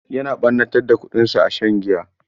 Yana ɓannatar da kuɗinsa a shan giya.